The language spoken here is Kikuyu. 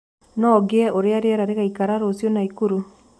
no ngĩe uria rĩera rĩgaĩkara ruciu naikuru